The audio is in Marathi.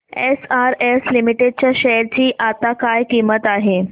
एसआरएस लिमिटेड च्या शेअर ची आता काय किंमत आहे